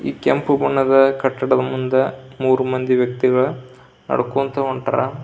ಈ ಕೆಂಪು ಬಣ್ಣದ ಕಟ್ಟಡದ ಮುಂದ ಮೂರ್ ಮಂದಿ ವ್ಯಕ್ತಿಗಳು ನಡಕೊಂತ ಹೊಂಟಾರ.